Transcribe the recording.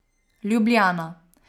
Ljubljana.